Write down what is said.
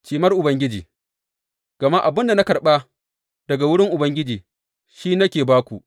Cimar Ubangiji Gama abin da na karɓa daga wurin Ubangiji shi ne nake ba ku.